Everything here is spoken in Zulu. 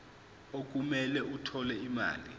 okumele athole imali